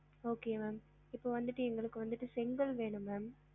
Okay ma'am இப்ப வந்துட்டு எங்களுக்கு வந்துட்டு செங்கல் வேணும் ma'am